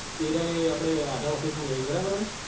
એ રહ્યા એ update Aadhaar office માં બેસે છે બરાબર.